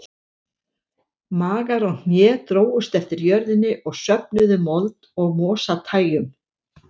Magar og hné drógust eftir jörðinni og söfnuðu mold og mosatægjum.